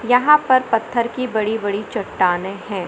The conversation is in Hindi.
यहां पर पत्थर की बड़ी बड़ी चटाने है।